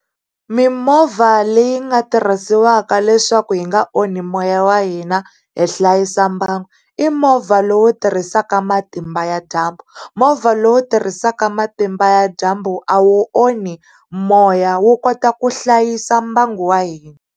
Mimovha leyi nga tirhisiwaka leswaku hi nga onhi moya wa hina hi hlayisa mbangu, i movha lowu tirhisaka matimba ya dyambu. Movha lowu tirhisaka matimba ya dyambu a wu onhi moya wu kota ku hlayisa mbangu wa hina.